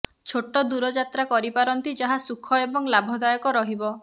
ଛୋଟ ଦୂର ଯାତ୍ରା କରିପାରନ୍ତି ଯାହା ସୁଖ ଏବଂ ଲାଭଦାୟକ ରହିବ